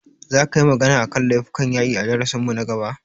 Za ka yi magana a kan laifukan yaƙi a darasin mu na gaba?